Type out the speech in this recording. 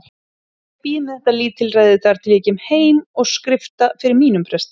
Ég bíð með þetta lítilræði þar til ég kem heim og skrifta fyrir mínum presti.